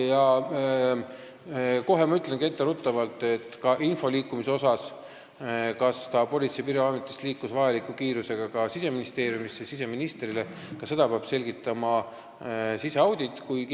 Jaa, ma ütlen kohe info liikumise kohta, et sedagi, kas info liikus Politsei- ja Piirivalveametist vajaliku kiirusega Siseministeeriumisse siseministrile, peab selgitama siseaudit.